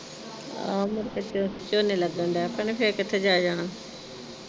ਆਹੋ ਮੁੜ ਕੇ ਝ ਝੋਨੇ ਲੱਗਣ ਲੱਗ ਪੈਣੇ ਫਿਰ ਚੱਲ ਕਿਥੇ ਜਾਇਆ ਜਾਣਾ।